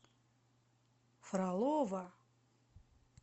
фролово